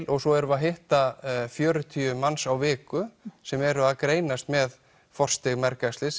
og svo erum við að hitta fjörutíu manns á viku sem eru að greinast með forstig mergæxlis